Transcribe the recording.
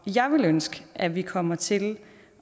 jeg ville ønske at vi kommer til